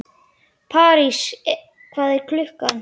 París, hvað er klukkan?